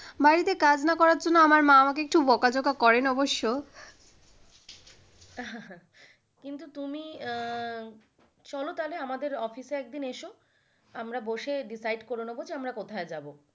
বাড়িতে কাজ না করার জন্য আমার মা আমাকে একটু বকাঝকা করেন অবশ্য। কিন্তু তুমি চলো তাহলে আমাদের office এ একদিন এসো আমরা বসে decide করে নেবো যে আমরা কোথায় যাব।